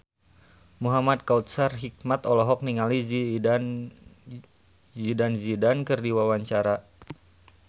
Muhamad Kautsar Hikmat olohok ningali Zidane Zidane keur diwawancara